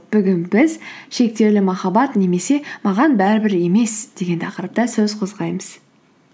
бүгін біз шектеулі махаббат немесе маған бәрі бір емес деген тақырыпта сөз қозғаймыз